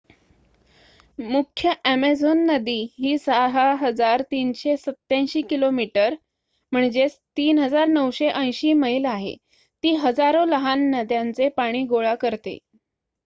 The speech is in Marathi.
मुख्य अॅमेझॉन नदी ही ६,३८७ किमी ३,९८० मैल आहे. ती हजारो लहान नद्यांचे पाणी गोळा करते